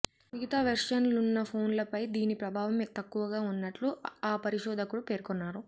మిగతా వెర్షన్లున్న ఫోన్లపై దీని ప్రభావం తక్కువగా ఉన్నట్లు ఆ పరిశోధకుడు పేర్కొన్నారు